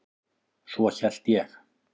Svo hélt ég.